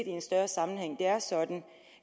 i en større sammenhæng det er sådan at